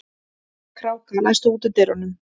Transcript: Kráka, læstu útidyrunum.